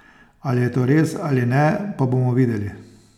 Ali je to res ali ne pa bomo videli.